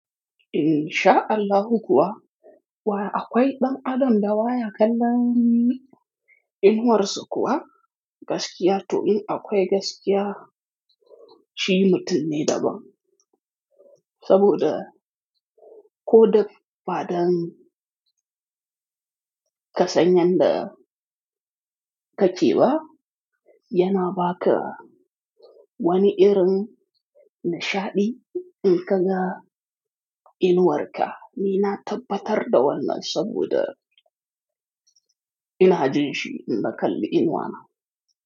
In sha Allahu kuwa, wa akwai ɗan Adam da wa ya kalla ni, inuwarsa kuwa gaskiya to in akwai gaskiya, shi mutum ne daban. Saboda ko da faɗan ka sanyan da ka ce ba, yana ba ka wani irin nishaɗi in ka ga inuwarka. Ni na tabbatar da wannan saboda ina jin shi inda kalli inuwana.